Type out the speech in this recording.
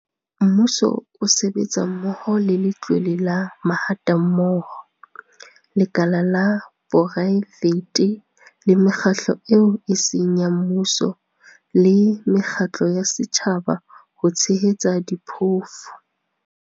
Mmuso o sebetsa mmoho le Letlole la Mahatammoho, lekala la poraefete le mekgatlo eo e seng ya mmuso le mekgatlo ya setjhaba ho tshehetsa diphofu.